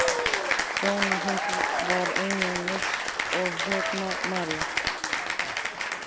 Kona hans var einnig norsk og hét María.